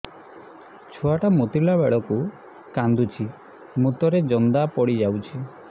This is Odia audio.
ଛୁଆ ଟା ମୁତିଲା ବେଳକୁ କାନ୍ଦୁଚି ମୁତ ରେ ଜନ୍ଦା ପଡ଼ି ଯାଉଛି